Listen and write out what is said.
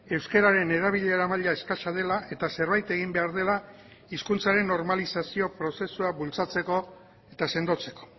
euskararen erabilera maila eskasa dela eta zerbait egin behar dela hizkuntzaren normalizazio prozesua bultzatzeko eta sendotzeko